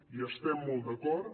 hi estem molt d’acord